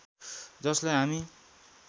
जसलाई हामी